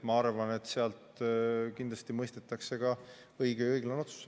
Ma arvan, et seal tehakse kindlasti õige ja õiglane otsus.